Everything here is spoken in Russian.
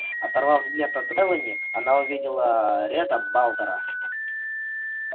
оторвав взгляд от мелани она увидела ретта балтера